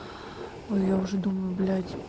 а я уже думаю блять